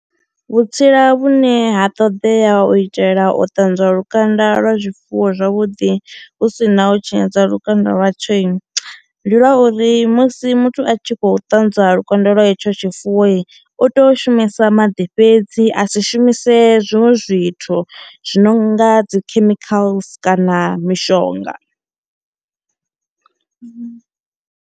Vhutsila vhune ha ṱodea u itela u ṱanzwa lukanda lwa zwifuwo zwavhuḓi hu si na u tshinyadza lukanda lwa tshoi, ndi lwa uri musi muthu a tshi kho ṱanzwa lukanda lwa hetsho tshifuwoi u to shumisa maḓi fhedzi a si shumise zwiṅwe zwithu zwi no nga dzi chemicals kana mishonga.